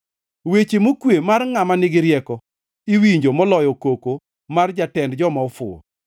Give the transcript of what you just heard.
Weche mokwe mar ngʼama nigi rieko iwinjo moloyo koko mar jatend joma ofuwo.